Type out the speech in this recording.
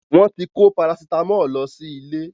Wọ́n ti kó Parasitámọ̀ lọ sí ilé.